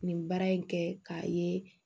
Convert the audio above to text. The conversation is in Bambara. Nin baara in kɛ k'a ye